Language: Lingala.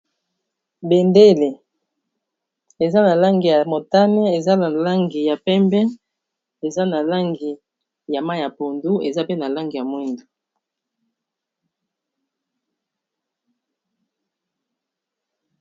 bendele eza na langi ya motane eza na langi ya pembe eza na langi ya mai ya pondu eza pe na langi ya mwindu